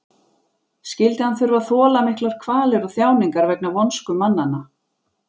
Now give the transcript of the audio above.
Skyldi hann þurfa að þola miklar kvalir og þjáningar vegna vonsku mannanna?